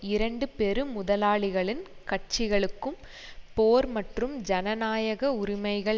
இரண்டு பெரு முதலாளிகளின் கட்சிகளுக்கும் போர் மற்றும் ஜனநாயக உரிமைகள்